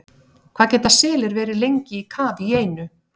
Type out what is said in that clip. Hvað geta selir verið lengi í kafi í einu?